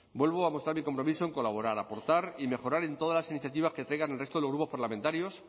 vuelvo a mostrar mi compromiso en colaborar aportar y mejorar en todas las iniciativas que traigan el resto de los grupos parlamentarios